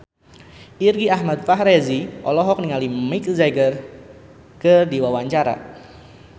Irgi Ahmad Fahrezi olohok ningali Mick Jagger keur diwawancara